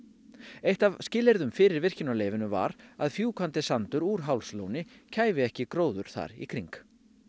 eitt af skilyrðum fyrir virkjunarleyfinu var að fjúkandi sandur úr Hálslóni kæfi ekki gróður þar í kring